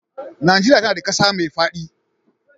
Nigeria tAna da ƙasa me fadi